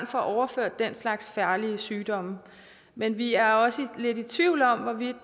får overført den slags farlige sygdomme men vi er også lidt i tvivl om hvorvidt